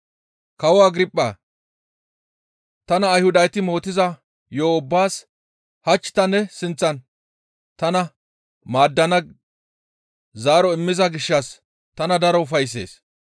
«Kawo Agirphaa! Tana Ayhudati mootiza yo7o ubbaas hach ta ne sinththan tana maaddana zaaro immiza gishshas tana daro ufayssees.